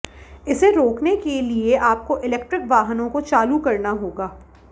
इसे रोकने के लिए आपको इलेक्ट्रिक वाहनों को चालू करना होगा